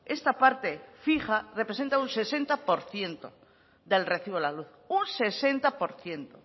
esta parte fija representa un sesenta por ciento del recibo de la luz un sesenta por ciento